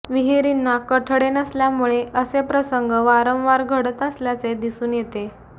विहीरींना कठडे नसल्यामुळे असे प्रसंग वारंवार घडत असल्याचे दिसून येते